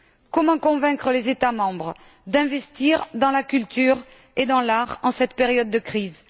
Comment convaincre les États membres d'investir dans la culture et dans l'art en cette période de crise?